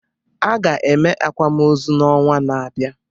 A ga-eme akwamozu n'ọnwa na-abịa